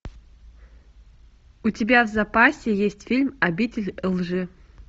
у тебя в запасе есть фильм обитель лжи